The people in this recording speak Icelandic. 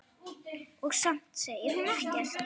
Og samt segir hún ekkert.